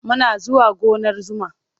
Muna zuwa gonar zuma.